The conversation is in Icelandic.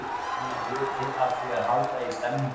Hann var hluti af því að halda í stemninguna.